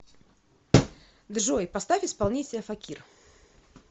джой поставь исполнителя факир